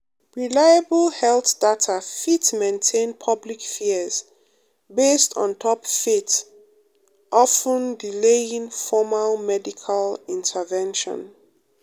reliable health data fit maintain public fears based on top faith of ten delaying formal medical intervention.